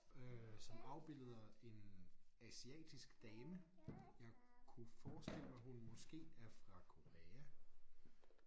Øh som afbilleder en asiatisk dame jeg kunne forestille mig hun måske er fra Korea